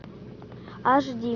аш ди